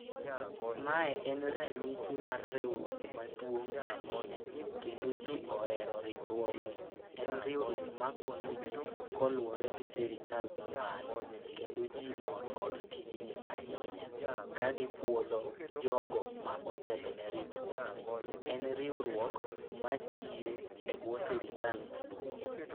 Mae en ranyisi mar riwruok maduong' ahinya, kendo ji ohero riwruogni. En riwruok ma konyo ji koluwore gi sirikal ma malo, kendo ji mor kod tijni ahinya. Ka gipuodho jogo ma otelo ne riwruogni, en riwruok ma tiyo e bwo sirikal maduong'.